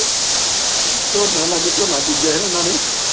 ਝੋਨੇ ਲਾਗੇ ਝੋਨਾ ਬਿਜੀਆ ਸੀ ਨਾ ਉਹਨਾਂ ਨੇ।